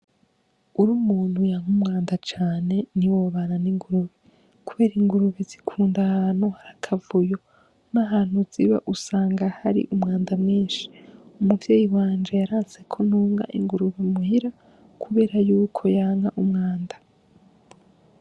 Uri umuntu yanka umwanda cane ni wobana n'ingurube, kubera ingurube zikunda ahantu harakavuyo n'ahantu ziba usanga hari umwanda mwinshi umuvyeyi wanje yarantseko ntunga inguruba muhira, kubera yuko yanka umwanda.